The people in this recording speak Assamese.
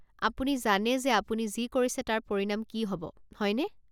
আপুনি জানে যে আপুনি যি কৰিছে তাৰ পৰিণাম কি হ'ব, হয়নে?